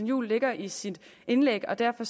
juhl lægger i sit indlæg og derfor